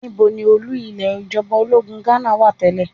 Níbo ni olú ilé ìjọba ológun Ghánà wà tẹ́lẹ̀?